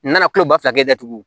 N nana kuloba fila kɛ datugu